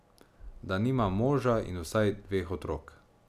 Da nimam moža in vsaj dveh otrok.